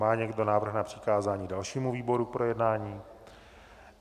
Má někdo návrh na přikázání dalšímu výboru k projednání?